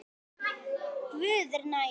Guð er nær.